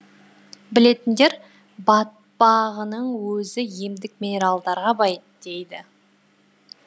білетіндер батпағының өзі емдік минералдарға бай дейді